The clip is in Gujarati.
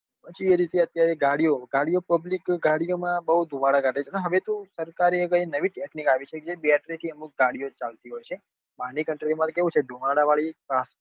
પછી એ રીતે ગાડીઓ ગાડીઓ public ગાડી ઓ માં બઉ દુમાળા કાઢે છે ને હવે તો સરકારે કઈક નવી jack કાઢી છે battery અમુક ગાડીઓ ચાલતી હોય છે બાર ની country માં તો કેવું છે ધુમાડા વાળી